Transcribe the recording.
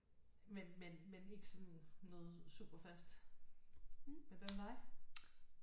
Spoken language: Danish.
Men men men ikke sådan noget super fast men hvad med dig